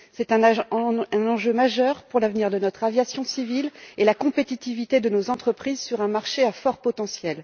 C'est un enjeu majeur pour l'avenir de notre aviation civile et la compétitivité de nos entreprises sur un marché à fort potentiel.